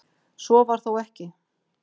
Svo var þó ekki.